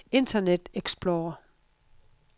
internet explorer